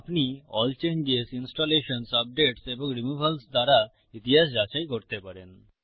আপনি ALL changes ইনস্টলেশনসহ updates এবং রিমুভালস দ্বারা ইতিহাস যাচাই করতে পারেন